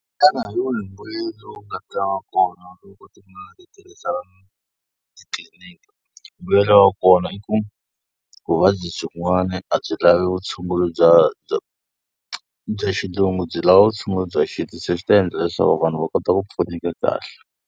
Xana hi wihi mbuyelo lowu nga ta va kona loko tin'anga ti tirhisa na titliliniki? Mbuyelo wa kona i ku vuvabyi byin'wana a byi lavi vutshunguri bya bya bya xilungu byi lava vutshunguri bya xintu, se swi ta endla leswaku vanhu va kota ku pfuneka kahle.